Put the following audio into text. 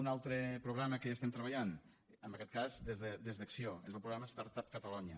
un altre programa que hi estem treballant en aquest cas des d’acció és el programa start up catalonia